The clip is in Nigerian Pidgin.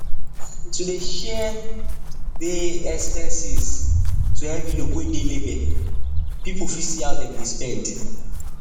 to dey share dey expenses to envelope wey dey label people fit see how dem dey spend